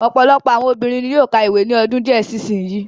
Ọ̀pọ̀lọpọ̀ àwọn obìnrin ni yóó ka ìwé ní ọdún díẹ̀ sí sin yìí.